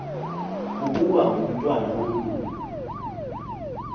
kukuba ngumntwana womlungu